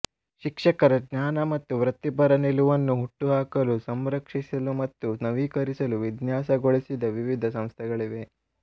ಶಿಕ್ಷಕರ ಜ್ಞಾನ ಮತ್ತು ವೃತ್ತಿಪರ ನಿಲುವನ್ನು ಹುಟ್ಟುಹಾಕಲು ಸಂರಕ್ಷಿಸಲು ಮತ್ತು ನವೀಕರಿಸಲು ವಿನ್ಯಾಸಗೊಳಿಸಿದ ವಿವಿಧ ಸಂಸ್ಥೆಗಳಿವೆ